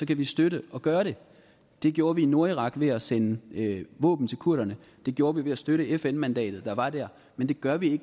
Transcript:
kan vi støtte at gøre det det gjorde vi i nordirak ved at sende våben til kurderne det gjorde vi ved at støtte fn mandatet der var der men det gør vi